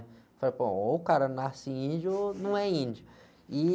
Falei, pô, ou o cara nasce índio ou não é índio. E...